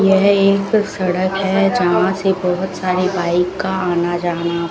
यह एक सड़क है जहां से बहुत सारे बाइक का आना जाना--